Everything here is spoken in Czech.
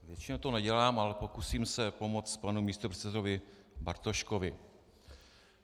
Většinou to nedělám, ale pokusím se pomoct panu místopředsedovi Bartoškovi.